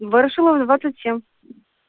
ворошилова двадцать семь